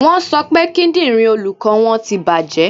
Wọ́n sọ pé kíndìnrín olùkọ́ wọn ti bàjẹ́.